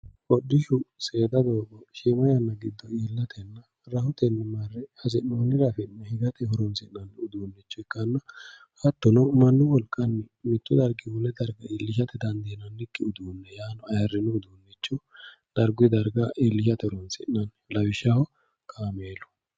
Hodhishshu seeda doogo shiima yanna giddo iillatenna rahotenni marre hasi'noonire affi'ne higate horonsi'nanni uduunicho ikkanna hattono mannu wolqanni mitu darginni wole darga iillisha dandiinannikki uduune yaano ayirino uduune dargu darga iillishate horonsi'nanni lawishshaho kaameelu.